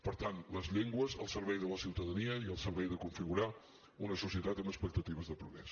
per tant les llengües al servei de la ciutadania i al servei de configurar una societat amb expectatives de progrés